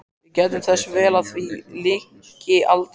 Við gættum þess vel að því lyki aldrei.